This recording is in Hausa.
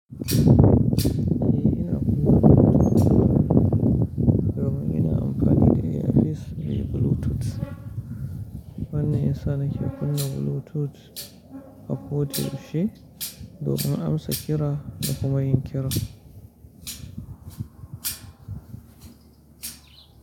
Eh ina kunna Bluetooth domin ina amfani da ear piece mai Bluetooth. Wannan yana sa nake kunna Bluetooth a koda yaushe, domin amsa kira da kuma yin kira.